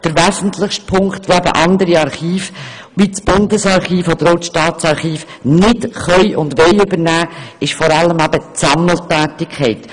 Der wesentlichste Punkt, den andere Archive wie das Bundesarchiv oder das Staatsarchiv nicht übernehmen können und wollen, ist die Sammeltätigkeit;